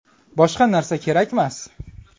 Boshqa narsa kerakmas.